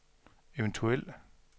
eventuel